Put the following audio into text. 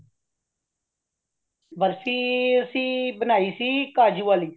ਬਰਫ਼ੀ ਅਸੀ ਬਨਾਈ ਸੀ ਕਾਜੁ ਵਾਲੀ